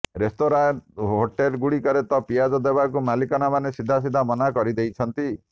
ରେସ୍ତୋରାୟ hotel ଗୁଡିକରେ ତ ପିଆଜ ଦେବାକୁ ମାଲିକମାନେ ସିଧାସିଧା ମନା କରିଦେଉଛନ୍ତି